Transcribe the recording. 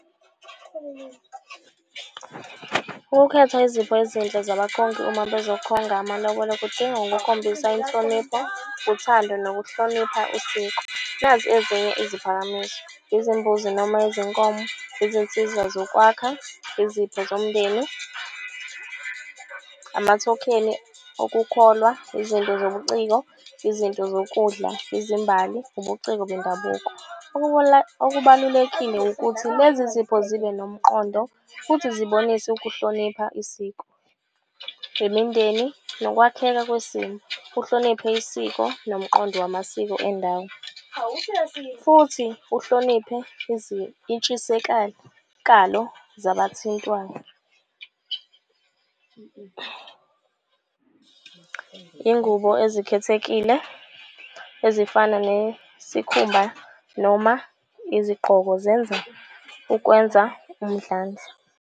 Ukukhetha izipho ezinhle zabakhongi uma bezokhonga amalobolo, kudinga ukukhombisa inhlonipho, uthando nokuhlonipha usiko. Nazi ezinye iziphakamiso, izimbuzi noma izinkomo, izinsiza zokwakha, izipho zomndeni, amathokheni okukholwa. Izinto zobuciko, izinto zokudla, izimbali, ubuciko bendabuko. Okubalulekile ukuthi lezi zipho zibe nomqondo futhi zibonise ukuhlonipha isiko, imindeni nokwakheka kwesimo. Uhloniphe isiko nomqondo wamasiko endawo futhi uhloniphe zabathintwayo. Ingubo ezikhethekile ezifana nesikhumba noma izigqoko zenza ukwenza umdlandla.